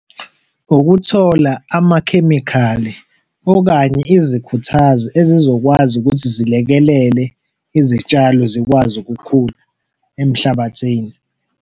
Ukuthola amakhemikhali okanye izikhuthazi ezizokwazi ukuthi zilekelele izitshalo zikwazi ukukhula emhlabathini.